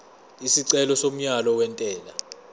isicelo somyalo wentela